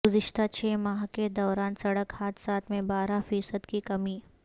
گذشتہ چھ ماہ کے دوران سڑک حادثات میں بارہ فیصد کی کمی